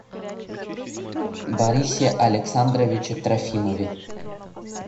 борисе александровиче трофимове